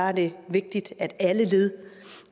er det vigtigt at alle led